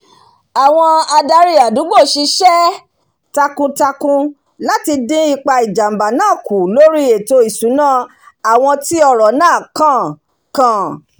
àwon adarí àdùgbò sisé takun- takun láti dín ipa ìjàmbá náà kù lórí ètò ìsúná àwon tí ọ̀rọ̀ náà kàn kàn